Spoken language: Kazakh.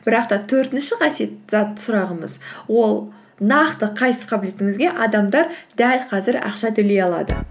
бірақ та төртінші сұрағымыз ол нақты қайсы қабілетіңізге адамдар дәл қазір ақша төлей алады